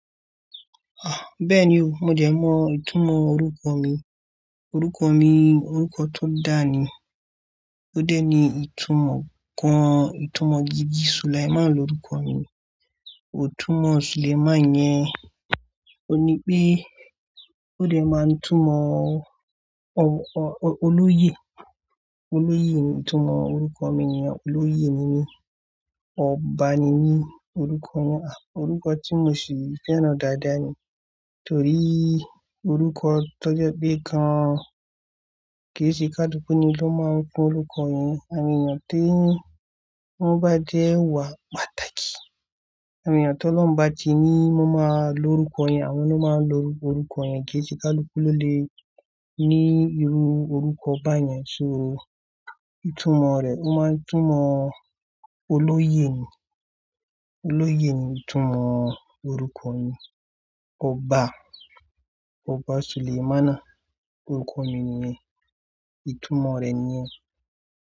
Ah, bẹ́ẹ̀ ni o, mo jẹ mọ ìtumọ̀ orúkọ mi. Òrúkọ mi, orúkọ tó dáa ni. Ó dé ni ìtumọ̀ kan, ìtumọ̀ gidi. Sulaimon lorúkọ mi. Òtúmọ Sulaimon yẹn, òní pé ó dé máa ń túmọ̀ o-o-olóyè. Olóyè ni ìtumọ̀ orúkọ mi ni, olóyè ni ní, ọba ni mi orúkọ Ah, orúkọ tí mo sì fẹ́ràn dáadáa ni. Torí orúkọ tó jẹ pé kan, kì í ṣe káluku ni ló máa ń pé orúkọ yẹn. Àwon eeyah ti, wọn bá dé wà pàtàkì. Àwon eyan ń to Lorun ba ti ní, wọn máa lo orúkọ yẹn, àwọn ló máa ń lo orúkọ yẹn. Kì ṣe káluku ló lè ní irú orúkọ báyẹn. So ìtumọ̀ rẹ̀, ó máa ń túmọ̀ olóyè ni. Olóyè ni ìtumọ̀ orúkọ mi. Ọba, ọba Sulaimona orúkọ mini yẹn, ìtumọ̀ rẹ̀ ni yẹn.